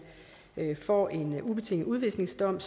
får en ubetinget udvisningsdom